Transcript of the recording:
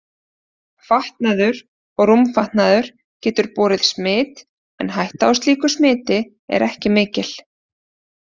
Fatnaður og rúmfatnaður getur borið smit en hætta á slíku smiti er ekki mikil.